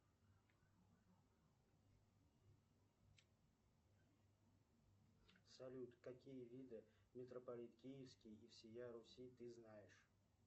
салют какие виды метрополит киевский и всея руси ты знаешь